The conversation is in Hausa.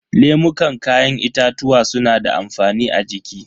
Lemukan kayan itatuwa suna da amfani a jiki.